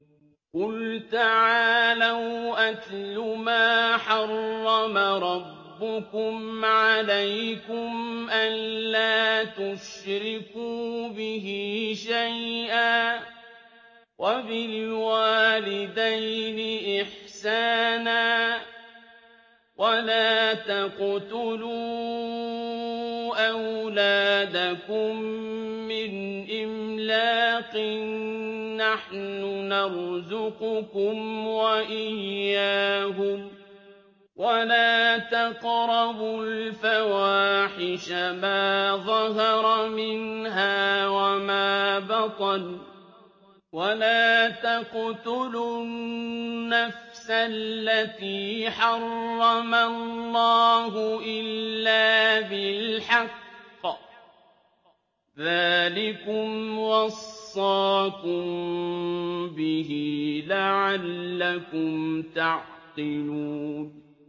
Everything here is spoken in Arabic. ۞ قُلْ تَعَالَوْا أَتْلُ مَا حَرَّمَ رَبُّكُمْ عَلَيْكُمْ ۖ أَلَّا تُشْرِكُوا بِهِ شَيْئًا ۖ وَبِالْوَالِدَيْنِ إِحْسَانًا ۖ وَلَا تَقْتُلُوا أَوْلَادَكُم مِّنْ إِمْلَاقٍ ۖ نَّحْنُ نَرْزُقُكُمْ وَإِيَّاهُمْ ۖ وَلَا تَقْرَبُوا الْفَوَاحِشَ مَا ظَهَرَ مِنْهَا وَمَا بَطَنَ ۖ وَلَا تَقْتُلُوا النَّفْسَ الَّتِي حَرَّمَ اللَّهُ إِلَّا بِالْحَقِّ ۚ ذَٰلِكُمْ وَصَّاكُم بِهِ لَعَلَّكُمْ تَعْقِلُونَ